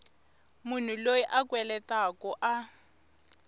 munhu loyi a kweletaku a